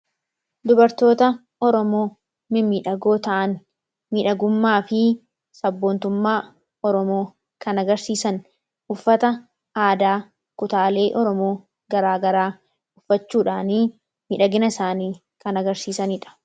dubartoota oromoo mimmiidhagoo ta'an midhagummaa fi sabboontummaa oromoo kan agarsiisan uffata aadaa kutaalee oromoo garaagaraa uffachuudhaanii midhagina isaanii kan agarsiisaniidha